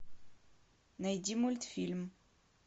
найди мультфильм